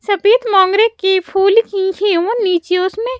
सफेद मोंगरे की फूल की वो नीचे उसमे --